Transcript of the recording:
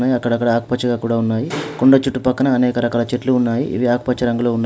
అక్కడక్కడా ఆకుపచ్చగా కూడా ఉన్నాయి. కొండ చుట్టుపక్కన అనేక రకాల చెట్లు ఉన్నాయి ఇవి ఆకుపచ్చ రంగులో ఉన్నాయి.